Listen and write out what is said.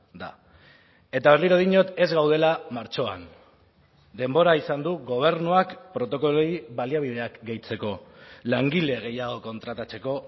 da eta berriro diot ez gaudela martxoan denbora izan du gobernuak protokoloei baliabideak gehitzeko langile gehiago kontratatzeko